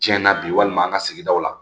Tiɲɛna bi walima an ka sigidaw la